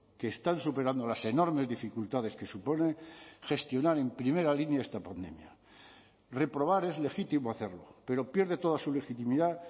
que están superando las enormes dificultades que supone gestionar en primera línea esta pandemia reprobar es legítimo hacerlo pero pierde toda su legitimidad